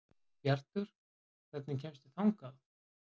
Bjartur, hvernig kemst ég þangað?